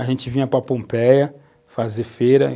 A gente vinha para Pompeia fazer feira.